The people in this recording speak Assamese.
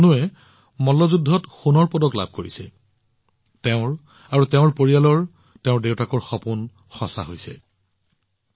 তনুৱে মল্লযুদ্ধত সোণৰ পদক লাভ কৰিছে আৰু নিজে আৰু তেওঁৰ পৰিয়ালৰ তেওঁৰ দেউতাকৰ সপোন বাস্তৱায়িত কৰি তুলিছে